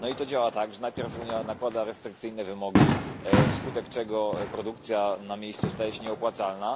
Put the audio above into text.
I to działa tak, że najpierw Unia nakłada restrykcyjne wymogi, wskutek czego produkcja na miejscu staje się nieopłacalna.